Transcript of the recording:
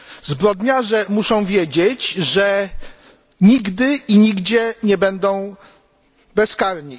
Zbrodniarze muszą wiedzieć, że nigdy i nigdzie nie będą bezkarni.